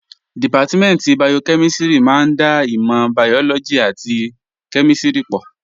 Dìpátímẹ̀ntì bayokẹ́mísìrì máa ń da ìmọ̀ bàyọ́lọ́gì àti kẹ́mísìrì pọ̀